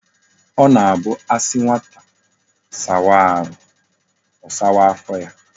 O na abu asi nwata sawa ahu,o sawaa afo ya